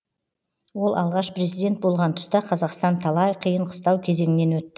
ол алғаш президент болған тұста қазақстан талай қиын қыстау кезеңнен өтті